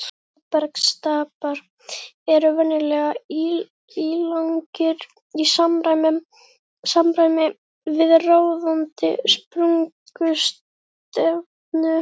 Móbergsstapar eru venjulega ílangir í samræmi við ráðandi sprungustefnu.